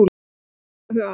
Það var gott að eiga þau að.